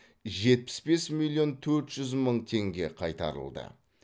жетпіс бес миллион төрт жүз мың теңге қайтарылды